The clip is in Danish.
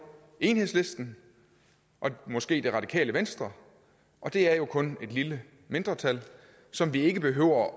enhedslisten og måske det radikale venstre og det er jo kun et lille mindretal som vi ikke behøver